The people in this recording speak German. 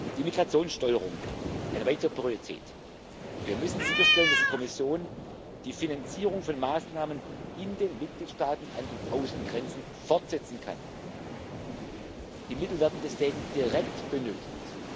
Die Migrationssteuerung eine weitere Priorität Wir müssen sicherstellen, dass die Kommission die Finanzierung von Maßnahmen in den Mitgliedstaaten an den Außengrenzen fortsetzen kann. Die Mittel werden deswegen direkt benötigt.